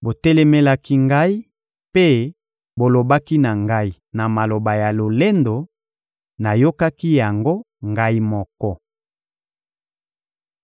Botelemelaki Ngai mpe bolobaki na Ngai na maloba ya lolendo; nayokaki yango Ngai moko.